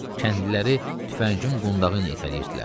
Kəndliləri tüfəngin qundağı ilə itələyirdilər.